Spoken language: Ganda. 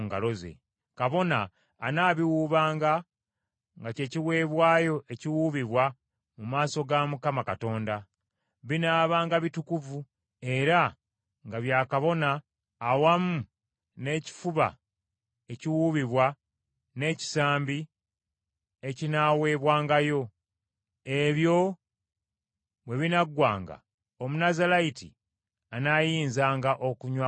Kabona anaabiwuubanga nga kye kiweebwayo ekiwuubibwa mu maaso ga Mukama Katonda. Binaabanga bitukuvu era nga bya kabona awamu n’ekifuba ekiwuubibwa n’ekisambi ekinaaweebwangayo. Ebyo bwe binaggwanga, Omunnazaalayiti anaayinzanga okunywa envinnyo.